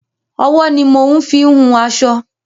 Ọwọ́ ni mo ń fín wun aṣọ.